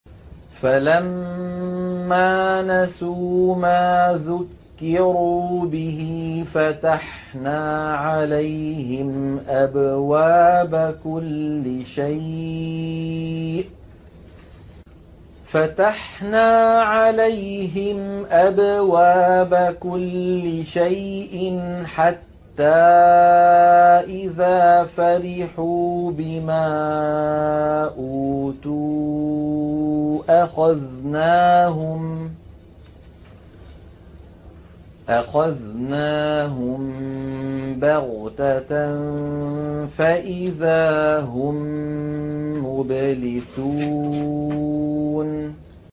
فَلَمَّا نَسُوا مَا ذُكِّرُوا بِهِ فَتَحْنَا عَلَيْهِمْ أَبْوَابَ كُلِّ شَيْءٍ حَتَّىٰ إِذَا فَرِحُوا بِمَا أُوتُوا أَخَذْنَاهُم بَغْتَةً فَإِذَا هُم مُّبْلِسُونَ